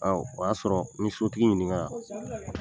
Awɔ, o y'a sɔrɔ n ye sotigi ɲininga.